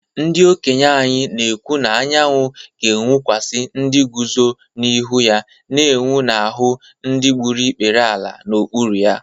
Ndị okenye anyị na-ekwu na anyanwụ ga-enwukwasị ndị guzo n’ihu ya na-enwu n’ahụ́ ndị na-egbu ikpere n’ala n’okpuru ha